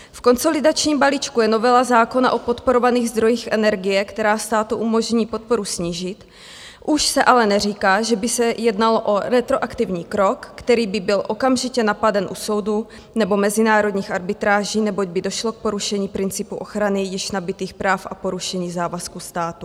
V konsolidačním balíčku je novela zákona o podporovaných zdrojích energie, která státu umožní podporu snížit, už se ale neříká, že by se jednalo o retroaktivní krok, který by byl okamžitě napaden u soudu nebo mezinárodních arbitráží, neboť by došlo k porušení principu ochrany již nabytých práv a porušení závazků státu.